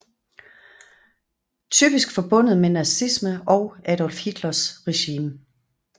Typisk forbundet med nazisme og Adolf Hitlers regime